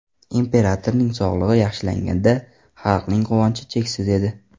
Imperatorning sog‘lig‘i yaxshilanganida xalqning quvonchi cheksiz edi.